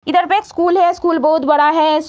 इधर पे एक स्कूल है स्कूल बहुत बड़ा है।